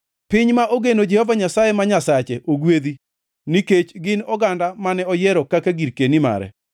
Piny ma ogeno Jehova Nyasaye ma Nyasache ogwedhi, nikech gin oganda mane oyiero kaka girkeni mare.